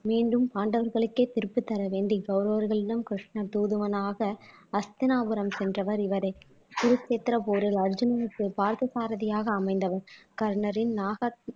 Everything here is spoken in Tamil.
மீண்டும் பாண்டவர்களுக்கே திருப்பி தரவேண்டி கௌரவர்களிடம் கிருஷ்ணன் தூதுவனாக அஸ்தினாபுரம் சென்றவர் இவரே குருசேத்திர போரில் அர்ஜுனனுக்கு பார்த்தசாரதியாக அமைந்தவன்